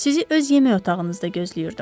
Sizi öz yemək otağınızda gözləyirdim.